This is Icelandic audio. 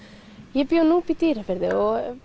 ég bý á Núpi í Dýrafirði og